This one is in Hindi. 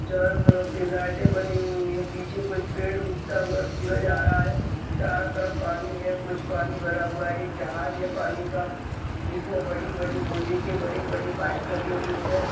चारों तरफ से लाइटे बनी हुई हैं पीछे कुछ पेड़ उगता हुआ सूरज आ रहा है चारों तरफ पानी है कुछ पानी भरा हुआ है एक जहाज है पानी का जिसमें बड़ी-बड़ी लोहे के बड़े-बड़े पाइप लगे हुए हैं।